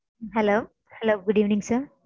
Hello good evening sir.